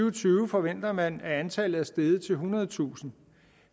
og tyve forventer man at antallet er steget til ethundredetusind